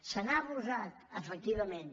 se n’ha abusat efectivament